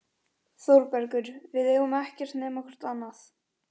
ÞÓRBERGUR: Við eigum ekkert nema hvort annað.